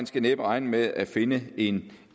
skal regne med at finde en